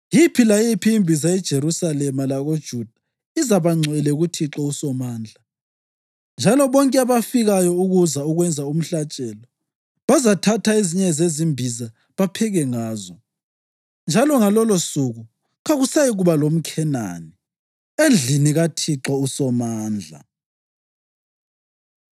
Yiphi layiphi imbiza eJerusalema lakoJuda izaba ngcwele kuThixo uSomandla, njalo bonke abafikayo ukuza kwenza umhlatshelo bazathatha ezinye zezimbiza bapheke ngazo. Njalo ngalolosuku kakusayikuba lomKhenani endlini kaThixo uSomandla.